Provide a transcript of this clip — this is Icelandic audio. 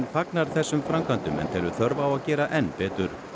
fagnar þessum framkvæmdum en telur þörf á að gera enn betur